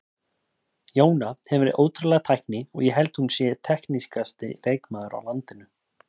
Jóna hefur ótrúlega tækni og ég held hún sé teknískasti leikmaður á landinu.